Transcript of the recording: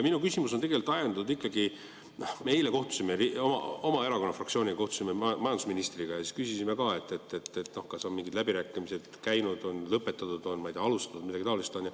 Minu küsimus on tegelikult ajendatud sellest, et me eile kohtusime oma erakonna fraktsioonis majandusministriga ja küsisime talt ka, kas on mingid läbirääkimised käinud, on lõpetatud, ma ei tea, alustatud või midagi taolist.